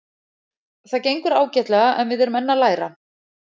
Það gengur ágætlega en við erum enn að læra.